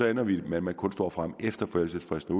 ender vi med at man kun står frem efter forældelsesfristen